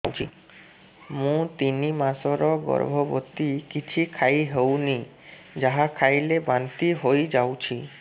ମୁଁ ତିନି ମାସର ଗର୍ଭବତୀ କିଛି ଖାଇ ହେଉନି ଯାହା ଖାଇଲେ ବାନ୍ତି ହୋଇଯାଉଛି